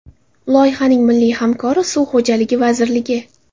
Loyihaning milliy hamkori Suv xo‘jaligi vazirligi.